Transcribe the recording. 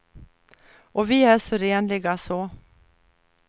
Och vi är så renliga så.